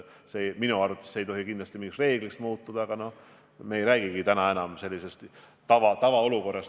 Minu arvates ei tohi see kindlasti reegliks muutuda, aga me ei räägigi täna enam tavaolukorrast.